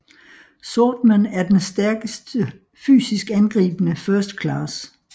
Swordman er den stærkeste fysisk angribende First Class